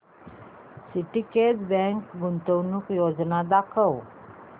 Syndicate bank गुंतवणूक योजना दाखव